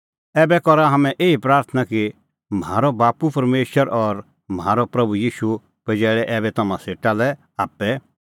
ऐबै करा हाम्हैं एही प्राथणां कि म्हारअ बाप्पू परमेशर और म्हारअ प्रभू ईशू पजैल़े ऐबै हाम्हां तम्हां सेटा आप्पै